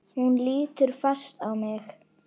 Hún lítur fast á mig.